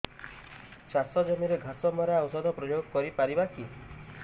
ଚାଷ ଜମିରେ ଘାସ ମରା ଔଷଧ ପ୍ରୟୋଗ କରି ପାରିବା କି